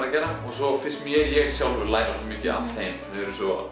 að gera og svo finnst mér ég læra svo mikið af þeim þau eru svo